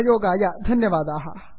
सहयोगाय धन्यवादाः